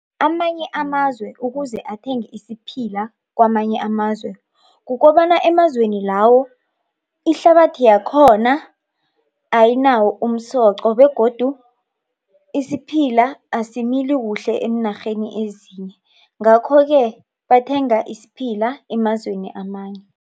Amanye amazwe ukuze athenge isiphila kwamanye amazwe kukobana emazweni lawo ihlabathi yakhona ayinawo umsoqo begodu isiphila asimili kuhle eenarheni ezinye. Ngakho-ke bathenga isiphila emazweni amanye